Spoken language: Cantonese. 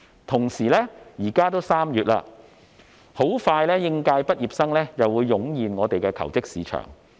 同時，現在已經是3月，應屆畢業生很快又會湧現求職市場。